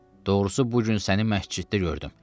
Doğrusu bu gün səni məsciddə gördüm.